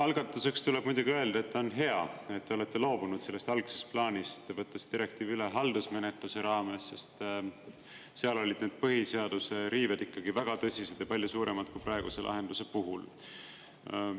Algatuseks tuleb muidugi öelda, et on hea, et te olete loobunud sellest algsest plaanist, võttes direktiivi üle haldusmenetluse raames, sest seal olid need põhiseaduse riived ikkagi väga tõsised ja palju suuremad kui praeguse lahenduse puhul.